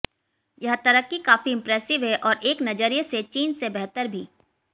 यह तरक्की काफी इंप्रेसिव है और एक नजरिए से चीन से बेहतर भी